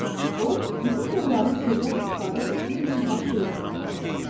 O, bütün bunların sirdən istifadə etdiyi üçün baş verdiyini anlayırdı.